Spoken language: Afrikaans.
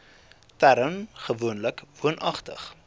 term gewoonlik woonagtig